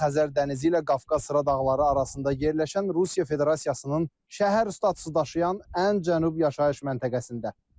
Xəzər dənizi ilə Qafqaz sıra dağları arasında yerləşən Rusiya Federasiyasının şəhər statusu daşıyan ən cənub yaşayış məntəqəsində.